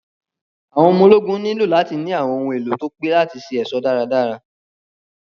Àwọn ọmọ ológun nílò láti ní àwọn ohun èlò tí pé láti ṣe ẹ̀ṣọ́ dárádárá.